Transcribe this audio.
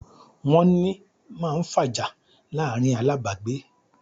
"Wọ́n ni", máa ń fàjà láàrín alábàágbé